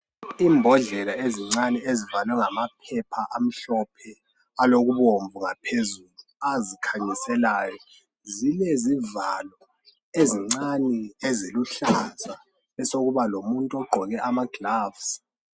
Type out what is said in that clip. Imbodlela ezincane ezivalwe ngamaphepha amhlophe alokubomvu ngaphezulu azikhanyiselayo zilezivalo ezincane eziluhlaza besokuba lomuntu ogqoke amagilovisi.